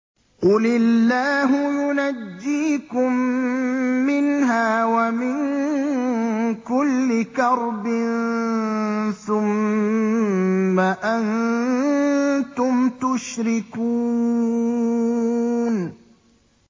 قُلِ اللَّهُ يُنَجِّيكُم مِّنْهَا وَمِن كُلِّ كَرْبٍ ثُمَّ أَنتُمْ تُشْرِكُونَ